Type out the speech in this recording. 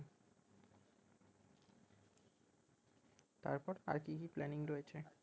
তারপর আর কি কি planning রয়েছে